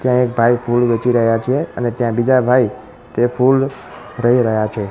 ત્યાં એક ભાઈ ફૂલ વેહચી રહ્યા છે અને ત્યાં બીજા ભાઈ તે ફૂલ રહી રહ્યા છે.